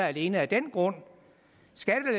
alene af den grund